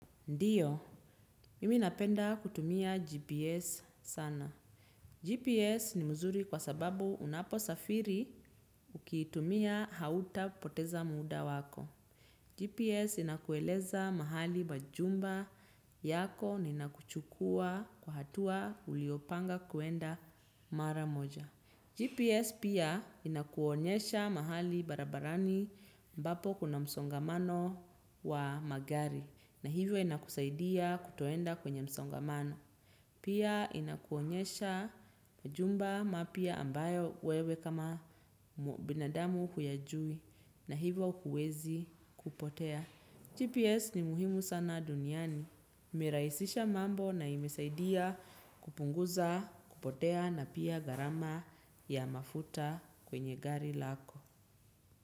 Ndiyo, mimi napenda kutumia GPS sana. GPS ni nzuri kwa sababu unapo safiri ukitumia hautapoteza muda wako. GPS inakueleza mahali majumba yako na inakuchukua kwa hatua uliopanga kwenda mara moja. GPS pia inakuonyesha mahali barabarani ambapo kuna msongamano wa magari. Na hivyo inakusaidia kutoenda kwenye msongamano. Pia inakuonyesha majumba mapya ambayo wewe kama binadamu huyajui. Na hivyo huwezi kupotea. GPS ni muhimu sana duniani. Imerahisisha mambo na imesaidia kupunguza kupotea na pia gharama ya mafuta kwenye gari lako.